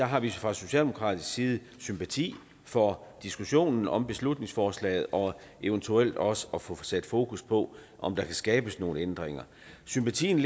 har vi fra socialdemokratisk side sympati for diskussionen om beslutningsforslaget og eventuelt også at få sat fokus på om der kan skabes nogle ændringer sympatien